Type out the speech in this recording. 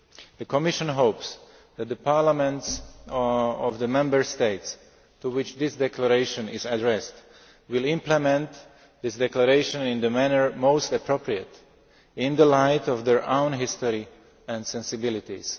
The Commission hopes that the parliaments of the Member States, to which this declaration is addressed, will implement this declaration in the manner most appropriate in the light of their own history and sensibilities.